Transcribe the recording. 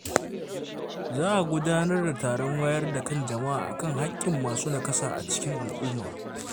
Za a gudanar da taron wayar da kan jama’a kan haƙƙin masu nakasa a cikin al’umma.